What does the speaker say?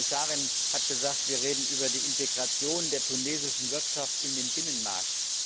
Die Kommissarin hat gesagt, wir reden über die Integration der tunesischen Wirtschaft in den Binnenmarkt.